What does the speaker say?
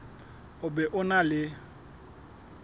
o be o na le